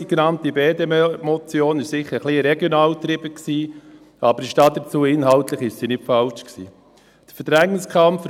Die genannte BDP-Motion war sicher ein bisschen regional getrieben, aber ich stehe dazu, dass sie inhaltlich nicht falsch war.